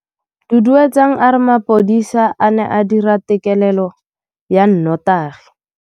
Duduetsang a re mapodisa a ne a dira têkêlêlô ya nnotagi.